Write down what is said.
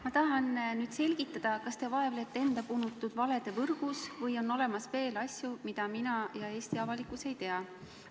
Ma tahan selgitada, kas te vaevlete enda punutud valede võrgus või on olemas veel asju, mida mina ja Eesti avalikkus ei tea.